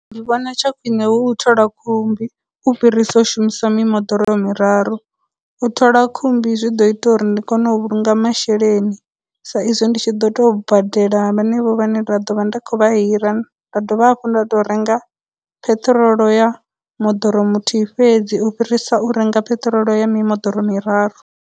Ndi vhona tsha khwine hu u thola khumbi u fhirisa u shumisa mimoḓoro miraru, u thola khumbi zwi ḓo ita uri ndi kone u vhulunga masheleni sa izwi ndi tshi ḓo tou badela hanevho vhane ra dovha ndi khou vha hira, nda dovha hafhu nda tou renga ptrol ya moḓoro muthihi fhedzi u fhirisa u renga petrol ya mimoḓoro miraru.